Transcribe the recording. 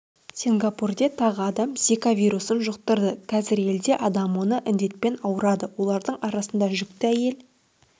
сингапурде тағы адам зика вирусын жұқтырды қазір елде адам осы індетпен ауырады олардың арасында жүкті әйел